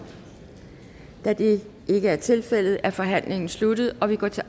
da det ikke er tilfældet er forhandlingen sluttet og vi går til